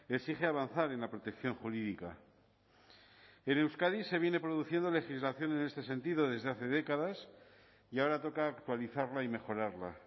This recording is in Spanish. exige avanzar en la protección jurídica en euskadi se viene produciendo legislación en este sentido desde hace décadas y ahora toca actualizarla y mejorarla